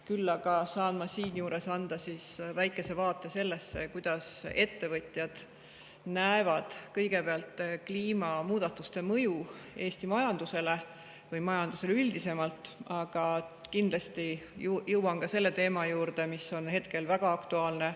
Küll aga saan ma siinjuures anda väikese vaate sellesse, kuidas ettevõtjad näevad kõigepealt kliimamuutuste mõju Eesti majandusele või majandusele üldisemalt, aga kindlasti jõuan ka selle teema juurde, mis on hetkel väga aktuaalne.